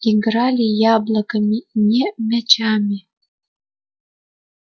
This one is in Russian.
играли яблоками не мячами